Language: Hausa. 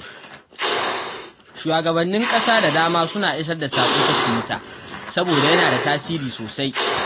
Shugabannin ƙasa da dama suna isar da sako ta Twitter saboda yana da tasiri sosai.